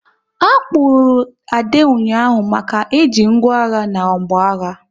A kpụrụru Ade ụnyaahụ maka e ji ngwá agha na mgbọagha